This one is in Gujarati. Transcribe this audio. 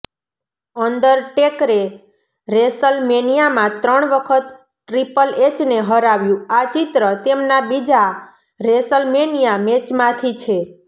અંડરટેકરે રેસલમેનિયામાં ત્રણ વખત ટ્રીપલ એચને હરાવ્યું આ ચિત્ર તેમના બીજા રેસલમેનિયા મેચમાંથી છે